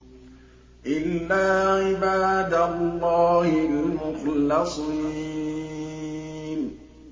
إِلَّا عِبَادَ اللَّهِ الْمُخْلَصِينَ